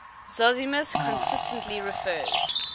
zosimus consistently refers